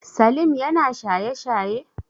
Salim yana shaye shaye?